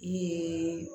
Nse